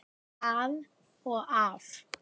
Að og af.